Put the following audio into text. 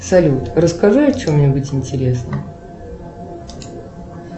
салют расскажи о чем нибудь интересном